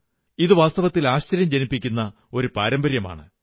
ഇത് വാസ്തവത്തിൽ ആശ്ചര്യം ജനിപ്പിക്കുന്ന ഒരു പാരമ്പര്യമാണ്